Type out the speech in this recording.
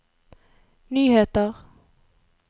nyheter